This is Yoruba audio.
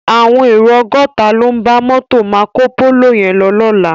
Áwòn éró ògòtá ló n bá mòtó Mákópóló yèn lò lòlá